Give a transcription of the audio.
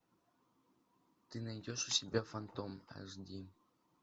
ты найдешь у себя фантом аш ди